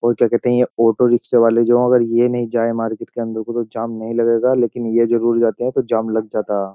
और क्या कहते हैं ये ऑटो रिक्शा वाले जो अगर ये नहीं जाये मार्केट के अन्दर नही जाएं तो जाम नहीं लगेगा लेकिन ये जरुर जाते है तो जाम लग जाता है।